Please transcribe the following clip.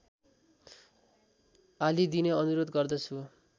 हालिदिने अनुरोध गर्दछु